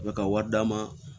U bɛ ka wari d'a ma